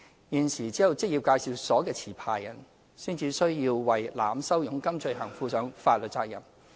現時只有職業介紹所的持牌人才須為濫收佣金罪行負上法律責任。